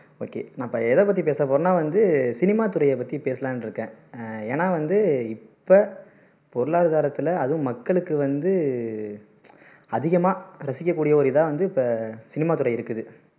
okay நம்ம எதை பத்தி பேச போறோம்னா வந்து சினிமாத்துறையை பத்தி பேசலான்னு இருக்கேன் ஹம் ஏன்னா வந்து இப்போ பொருளாதாரத்துல அதும் மக்களுக்கு வந்து அதிகமா ரசிக்க கூடிய ஒரு இதா வந்து இப்போ சினிமாத்துறை இருக்குது